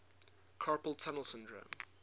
carpal tunnel syndrome